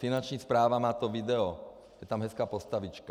Finanční správa má to video, je tam hezká postavička.